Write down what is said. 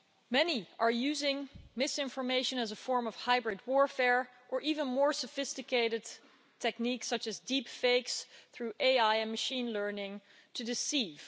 Many are using misinformation as a form of hybrid warfare or even more sophisticated techniques, such as deep fakes, through AI and machine learning, to deceive.